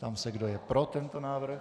Ptám se, kdo je pro tento návrh.